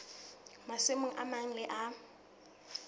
masimong a mang le a